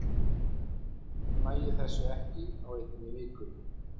Annars næ ég þessu ekki á einni viku.